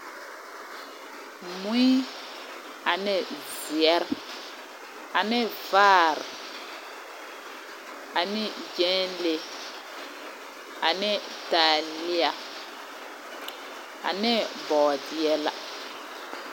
Mui ane zeɛre, ane vaare, ane gyɛnle ane taaliea, ane bɔɔdeɛ la.